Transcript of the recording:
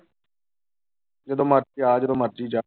ਜਦੋਂ ਮਰਜ਼ੀ ਆ ਜਦੋਂ ਮਰਜ਼ੀ ਜਾ।